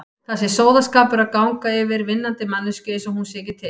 Það sé sóðaskapur að ganga yfir vinnandi manneskju einsog hún sé ekki til.